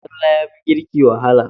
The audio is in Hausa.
Tsalle yafi girki wahala.